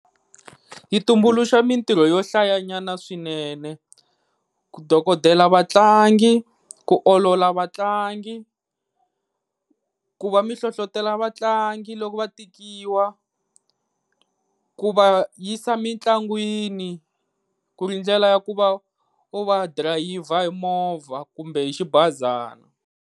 Yi tumbuluxa mintirho yo hlayanyana swinene, ku dokodela vatlangi ku olola vatlangi ku va mi hlohlotela vatlangi loko va tikiwa ku va yisa mitlangwini ku ri ndlela ya ku va u va drayiva hi movha kumbe hi xibazana.